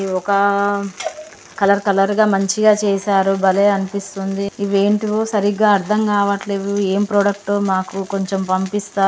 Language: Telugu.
ఇది ఒకా కలర్ కలర్ గా మంచిగా చేశారు. బలే అనిపిస్తుంది. ఇవి ఏంటీవో సరిగ్గా అర్థం కావట్లేదు ఏం ప్రోడక్ట్ ఓ మాకు కొంచెం పంపిస్తాలు.